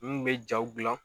N kun be jaw gilan